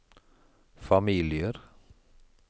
familier